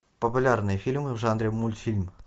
популярные фильмы в жанре мультфильм